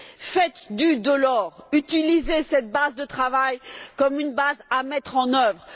Faites du Delors, utilisez cette base de travail comme une base à mettre en œuvre!